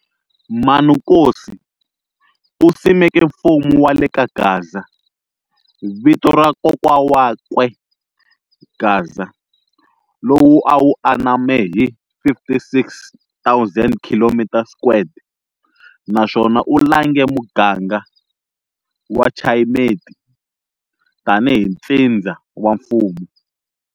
Manukosi u simeke mfumo wa le kaGaza, Vito ra Kokwa wakwe Gaza, lowu a wu aname hi 56 000 km squared naswona u lange muganga wa Chayimeti tani hi ntsindza wa mfumo.